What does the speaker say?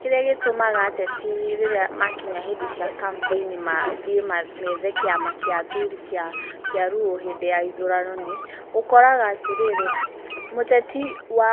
Kĩrĩa gĩtũmaga ateti rĩrĩa makinya hĩndĩ cia kambĩini mathiĩ methe kĩama gĩa athuri kĩa Luo hĩndĩ ya ithurano nĩ, ũkoraga atĩrĩrĩ, mũteti wa ,